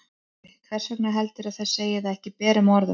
Sölvi: Hvers vegna heldurðu að þau segi það ekki berum orðum?